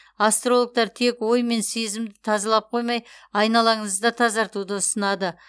астрологтар тек ой мен сезімді тазалап қоймай айналаңызды да тазартуды ұсынады